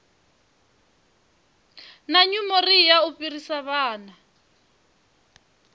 na nyumonia u fhirisa vhana